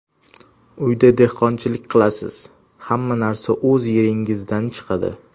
Uyda dehqonchilik qilasiz, hamma narsa o‘z yeringizdan chiqadi.